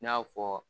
I n'a fɔ